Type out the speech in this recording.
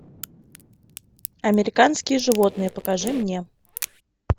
американские животные покажи мне